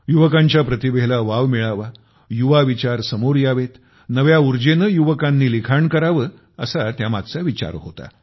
युवकांच्या प्रतिभेला वाव मिळावा युवा विचार समोर यावेत नव्या उर्जेने युवकांनी लिखाण करावे असा त्यामागचा विचार होता